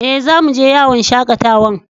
Eh, zamu je yawon shakatawan.